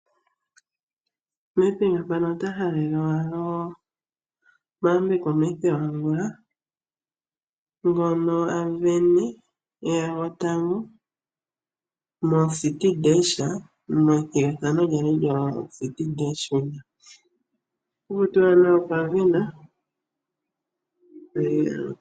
Nedbank ota halele Mathew Angula omahaleloyambeko sho a sindana , e ya gotango methigathano lyoCity Dash. Otaku tiwa nduno okwa sindana.